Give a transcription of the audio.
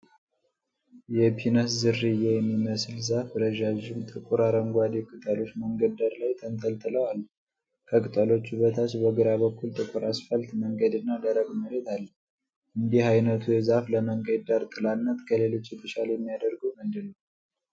የፒነስ ዝርያ የሚመስል ዛፍ ረዣዥም ጥቁር አረንጓዴ ቅጠሎች መንገድ ዳር ላይ ተንጠልጥለው አሉ። ከቅጠሎቹ በታች በግራ በኩል ጥቁር አስፋልት መንገድና ደረቅ መሬት አለ። እንዲህ ዓይነቱ ዛፍ ለመንገድ ዳር ጥላነት ከሌሎች የተሻለ የሚያደርገው ምንድነው?